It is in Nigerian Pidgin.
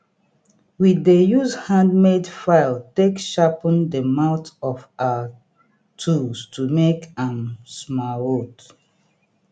we dey use handmade file take sharpen the mouth of our tools to make am smaooth